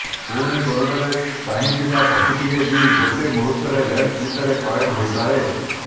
ପୁଣି କୋରଡ଼ରେ ଚାହିଁଥିବା ପକ୍ଷୀଟିଏ ବି ଗୋଟେ ମୁହୂର୍ତରେ ଲେନ୍ସ ଭିତରେ କଏଦ ହୋଇପାରେ